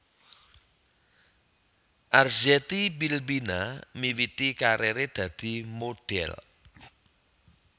Arzetti Bilbina miwiti karire dadi modhél